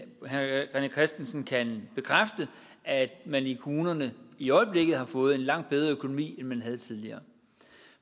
herre rené christensen kan bekræfte at man i kommunerne i øjeblikket har fået en langt bedre økonomi end man havde tidligere